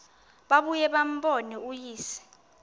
babuye bambone uyise